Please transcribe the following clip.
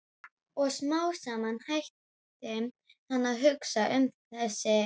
Og smám saman hætti hann að hugsa um þessa fyrirhöfn.